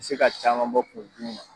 se ka caman bɔ kungolo dimi na.